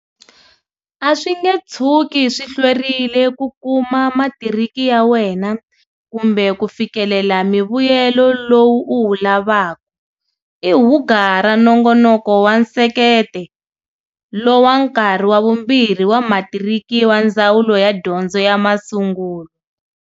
A swi nge tshuki swi hlwerile ku kuma matiriki ya wena kumbe ku fikelela mivuyelo lowu u wu lavaka, i hugura Nongonoko wa Nsekete lo wa Nkarhi wa Vumbirhi wa Matiriki wa Ndzawulo ya Dyondzo ya Masungulo.